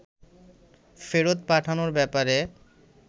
ফেরত পাঠানোর ব্যাপারে